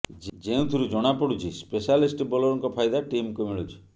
ଯେଉଁଥିରୁ ଜଣା ପଡୁଛି ସ୍ପେଶାଲିଷ୍ଟ ବୋଲରଙ୍କ ଫାଇଦା ଟିମକୁ ମିଳୁଛି